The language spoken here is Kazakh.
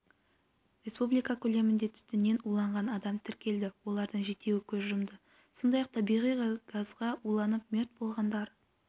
республика көлемінде түтіннен уланған адам тіркелді олардың жетеуі көз жұмды сондай-ақ табиғи газға уланып мерт болғандар